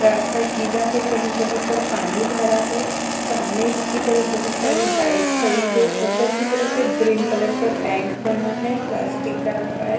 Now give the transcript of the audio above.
रास्ता गीला है कहीं-कहीं पर पानी भरा है सामने की तरफ बहुत सारी बाइक खड़ी हैं ऊपर की तरफ एक ग्रीन कलर का टैंक बना है प्लास्टिक का रखा है।